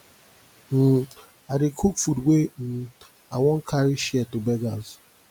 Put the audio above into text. um i dey cook food wey um i wan carry share to beggars